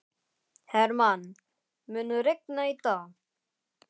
Hermann, mun rigna í dag?